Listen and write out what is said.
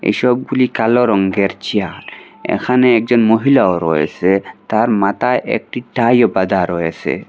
এসবগুলি কালো রঙ্গের চেয়ার এখানে একজন মহিলাও রয়েসে তার মাতায় একটি টাইও বাঁধা রয়েসে।